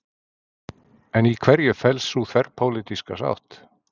En í hverju felst sú þverpólitíska sátt?